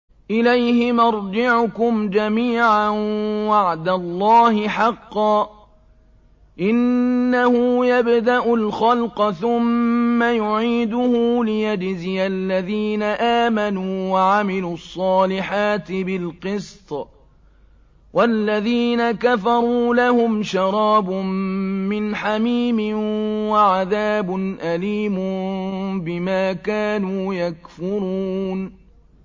إِلَيْهِ مَرْجِعُكُمْ جَمِيعًا ۖ وَعْدَ اللَّهِ حَقًّا ۚ إِنَّهُ يَبْدَأُ الْخَلْقَ ثُمَّ يُعِيدُهُ لِيَجْزِيَ الَّذِينَ آمَنُوا وَعَمِلُوا الصَّالِحَاتِ بِالْقِسْطِ ۚ وَالَّذِينَ كَفَرُوا لَهُمْ شَرَابٌ مِّنْ حَمِيمٍ وَعَذَابٌ أَلِيمٌ بِمَا كَانُوا يَكْفُرُونَ